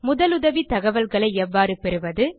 முதலுதவி தகவல்களை எவ்வாறு பெறுவது